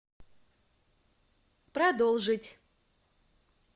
продолжить